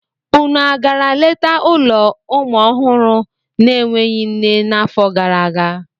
Unu a gara leta ụlọ ụmụ ọhụrụ na-enweghị nne n'afọ gara aga?